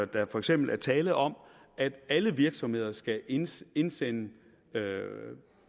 der for eksempel er tale om at alle virksomheder skal indsende indsende